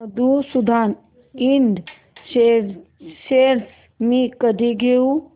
मधुसूदन इंड शेअर्स मी कधी घेऊ